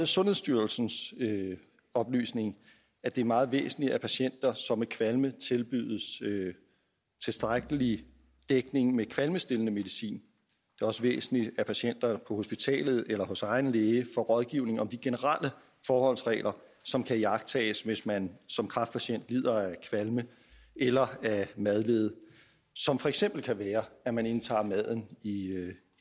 sundhedsstyrelsens oplysning at det er meget væsentligt at patienter som har kvalme tilbydes tilstrækkelig dækning med kvalmestillende medicin det også væsentligt at patienter på hospitalet eller hos egen læge får rådgivning om de generelle forholdsregler som kan iagttages hvis man som kræftpatient lider af kvalme eller madlede og som for eksempel kan være at man indtager maden i